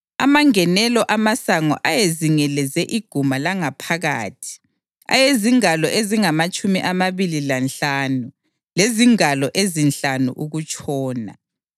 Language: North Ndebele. (Amangenelo amasango ayezingeleze iguma langaphakathi ayezingalo ezingamatshumi amabili lanhlanu lezingalo ezinhlanu ukutshona.)